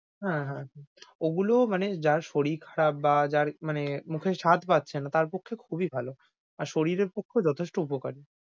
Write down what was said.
হ্যাঁ, হ্যাঁ। ওগুলো মানে যার শরীর খারাপ বা যার মানে মুখে স্বাদ পাচ্ছে না তার পক্ষে খুবই ভালো। আর শরীর এর পক্ষেও যতেশটো উপকারী।